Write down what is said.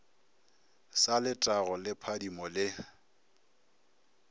sa letago le phadimo le